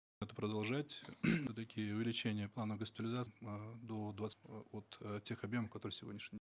это продолжать все таки увеличение планов до два от тех объемов которые сегодняшним